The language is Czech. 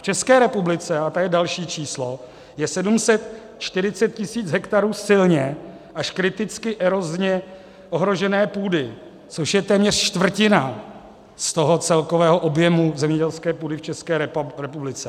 V České republice - a to je další číslo - je 740 tisíc hektarů silně až kriticky erozně ohrožené půdy, což je téměř čtvrtina z toho celkového objemu zemědělské půdy v České republice.